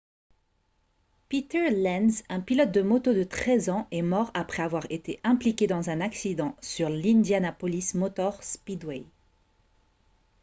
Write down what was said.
peter lenz un pilote de moto de 13 ans est mort après avoir été impliqué dans un accident sur l'indianapolis motor speedway